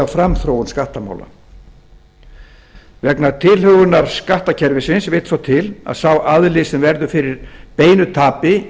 framþróun skattamála vegna tilhögunar skattkerfisins vill svo til að sá aðili sem verður fyrir beinu tapi